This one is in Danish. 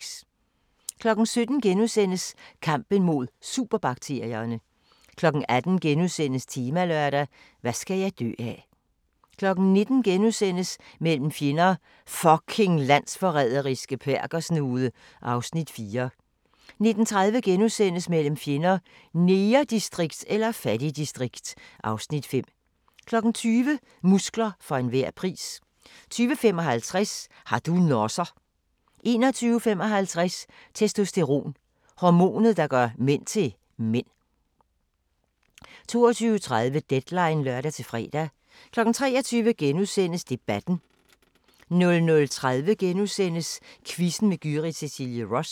17:00: Kampen mod superbakterierne * 18:00: Temalørdag: Hvad skal jeg dø af * 19:00: Mellem fjender: "Fucking landsforræderiske perkersnude" (Afs. 4)* 19:30: Mellem fjender: Negerdistrikt eller fattigdistrikt? (Afs. 5)* 20:00: Muskler for enhver pris 20:55: Har du nosser? 21:55: Testosteron - hormonet, der gør mænd til mænd 22:30: Deadline (lør-fre) 23:00: Debatten * 00:30: Quizzen med Gyrith Cecilie Ross *